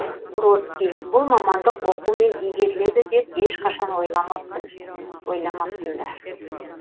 бродский бұл мамандық оқумен игеріледі деп ешқашан ойламаппын ойламаппын да